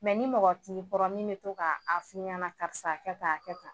Mɛ ni mɔgɔ t'i kɔrɔ min bɛ to k'a fɔ i ɲɛna , karisa a kɛ tan